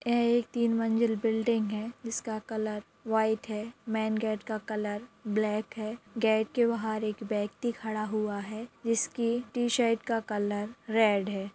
यह एक तीन मंजिल बिलिंग है जिसका कलर वाईट है मेन गेट का कलर ब्लेक है गेट के बहार एक व्यक्ति खड़ा हुआ है जिसकी टीशर्ट का कलर रेड है।